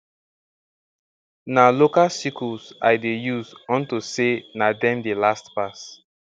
na local sickles i dey use unto say na dem dey last pass